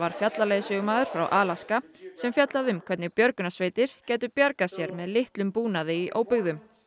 fjallaleiðsögumaður frá Alaska sem fjallaði um hvernig björgunarsveitir gætu bjargað sér með litlum búnaði í óbyggðum